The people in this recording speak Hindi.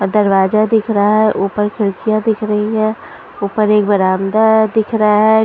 दरवाजा दिख रहा हैं ऊपर खिड़कियाँ दिख रही हैं ऊपर एक बरामदा दिख रहा हैं ।